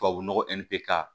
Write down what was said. Tubabu nɔgɔ k'a